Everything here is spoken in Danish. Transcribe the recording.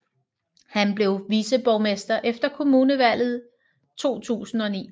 Han blev viceborgmester efter kommunalvalget 2009